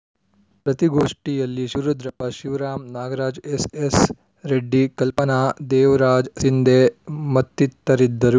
ಪ್ರತಿ ಘೋಷ್ಠಿಯಲ್ಲಿ Shivarudrappa Shivaram Nagaraj S S Reddy Kalpana Devraj Sindhe ಮತ್ತಿತರರಿದ್ದರು